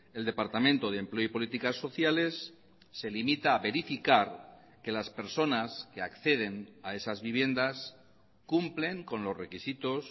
el departamento de empleo y políticas sociales se limita a verificar que las personas que acceden a esas viviendas cumplen con los requisitos